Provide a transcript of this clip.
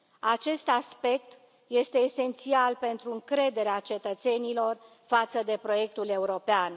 Acest aspect este esențial pentru încrederea cetățenilor față de proiectul european.